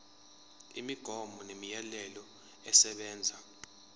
imigomo nemiyalelo esebenza